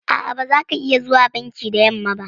A'a, ba zaka iya zuwa banki da yamma ba.